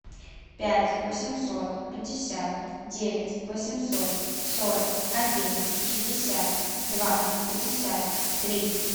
пять восемьсот пятьдесят девять восемьсот сорок один шестьдесят два пятьдесят три